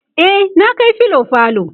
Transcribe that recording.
e na Kai filo falo